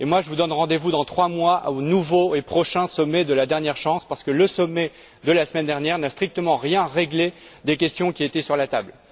Je vous donne rendez vous dans trois mois au nouveau et prochain sommet de la dernière chance, parce que le sommet de la semaine dernière n'a strictement rien réglé des questions qui étaient sur la table.